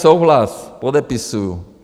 Souhlas, podepisuji.